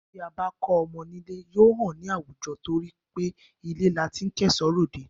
Bí a bá kọ́ ọmọ nílé, yóò hàn ní àwùjọ torí pé ilé la ti ń kẹ́ṣọ̀ọ́ ròde